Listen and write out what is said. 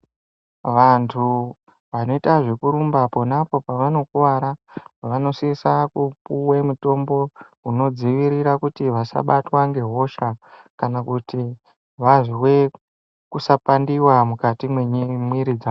Vantu vanoita zvekurumba ponapo pavanokuvara vanosise kupuwa mutombo unodzivirira kuti vasabatwa ngehosha vazwe kusapandiwa mukati memwiri dzavo.